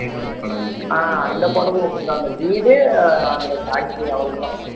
ஆஹ் அந்த படமும் okay தான் அந்த வீடு அந்த பாட்டி அவ்வளவுதான்